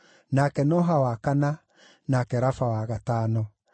nake Noha wa kana, nake Rafa wa gatano.